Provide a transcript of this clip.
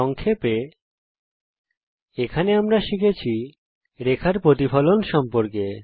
সংক্ষেপে এই টিউটোরিয়ালে আমরা শিখেছি রেখার প্রতিফলন সম্পর্কে